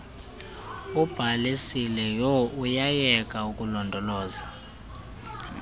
ubhalisileyo uyayeka ukulondoloza